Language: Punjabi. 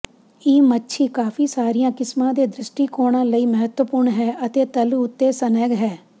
ਇਹ ਮੱਛੀ ਕਾਫ਼ੀ ਸਾਰੀਆਂ ਕਿਸਮਾਂ ਦੇ ਦ੍ਰਿਸ਼ਟੀਕੋਣਾਂ ਲਈ ਮਹੱਤਵਪੂਰਣ ਹੈ ਅਤੇ ਤਲ ਉੱਤੇ ਸਨੈਗ ਹੈ